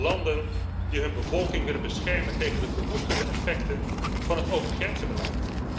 Landen die hun bevolking willen beschermen tegen de verwoestende effecten van het opengrenzenbeleid.